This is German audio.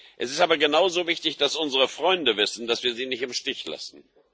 Es ist aber genauso wichtig, dass unsere Freunde wissen, dass wir sie nicht im Stich lassen.